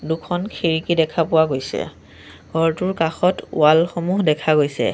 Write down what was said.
দুখন খিৰিকী দেখা পোৱা গৈছে ঘৰটোৰ কাষত ৱালসমূহ দেখা গৈছে।